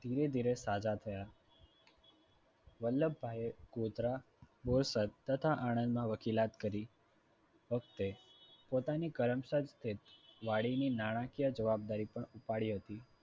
ધીરે ધીરે સાજા થયા. વલ્લભભાઈએ ગોધરા બોરસદ તથા આણંદમાં વકીલાત કરી વખતે પોતાની કરમસદ વાડીની નાણાકીય જવાબદારી પણ ઉપાડી હતી